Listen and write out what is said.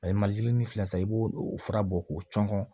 ni filɛ san i b'o o fura bɔ k'o cɔngɔ